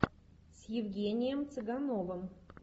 с евгением цыгановым